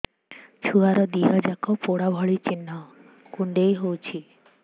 ଛୁଆର ଦିହ ଯାକ ପୋଡା ଭଳି ଚି଼ହ୍ନ କୁଣ୍ଡେଇ ହଉଛି